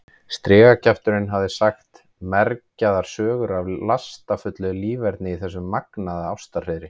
Strigakjafturinn hafði sagt mergjaðar sögur af lastafullu líferni í þessu magnaða ástarhreiðri.